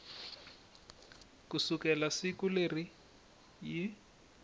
ku sukela siku leri yi